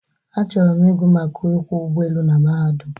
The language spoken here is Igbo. Achọrọ m igụ maka ịkwọ ụgbọelu n mahadum